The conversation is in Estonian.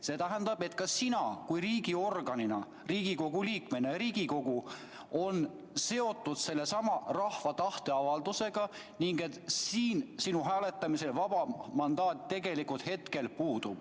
See tähendab, et ka sina Riigikogu liikmena ja Riigikogu on seotud rahva tahteavaldusega ning selles asjas hääletamisel sul vaba mandaat tegelikult puudub.